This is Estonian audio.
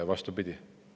Vastupidi.